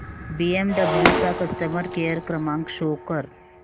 BMW चा customer care क्रमांक show कर